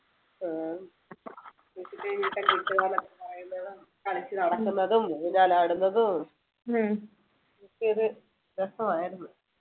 ആഹ് കളിച്ചു നടക്കുന്നതും ഊഞ്ഞാൽ ആടുന്നതും ഒക്കെ ഒരു രസമായിരുന്നു